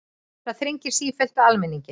Það þrengir sífellt að almenningi